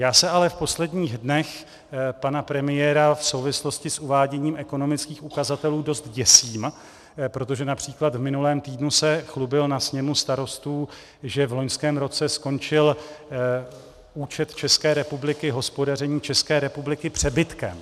Já se ale v posledních dnech pana premiéra v souvislosti s uváděním ekonomických ukazatelů dost děsím, protože například v minulém týdnu se chlubil na sněmu starostů, že v loňském roce skončil účet České republiky, hospodaření České republiky, přebytkem.